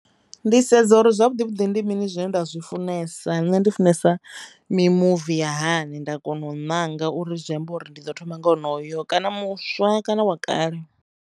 Ndi sedza uri zwavhuḓi vhuḓi ndi mini zwine nda zwi funesa nne ndi funesa mimuvi ya hani nda kona u ṋanga uri zwi amba uri ndi ḓo thoma nga wonoyo kana muswa kana wa kale.